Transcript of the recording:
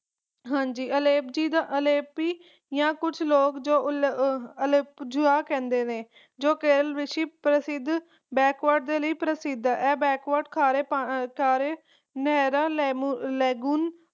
ਹਾਂਜੀ ਐਲਪੀਜੀ ਅਲੇਪੀ ਆ ਕੁਛ ਲੋਗ ਜੋ ਅਲੇਪਜੂਆ ਕਹਿੰਦੇ ਹਨ ਜੋ ਕੇਰਲ ਰਿਸ਼ੀ ਪ੍ਰਸਿੱਧ ਦੇ ਲਈ ਪ੍ਰਸਿੱਧ ਹਨ ਇਹ ਖੜ੍ਹੇ ਚਾਰੇ ਨਹਿਰਾਂ ਲੇਗੁਣ